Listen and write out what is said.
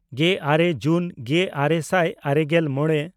ᱜᱮᱼᱟᱨᱮ ᱡᱩᱱ ᱜᱮᱼᱟᱨᱮ ᱥᱟᱭ ᱟᱨᱮᱜᱮᱞ ᱢᱚᱬᱮ